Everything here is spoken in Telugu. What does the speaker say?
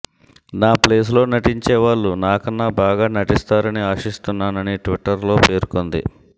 నా ప్లేస్లో నటించే వాళ్లు నా కన్నా బాగా నటిస్తారని ఆశిస్తున్నానని ట్విట్టర్లో పేర్కొంది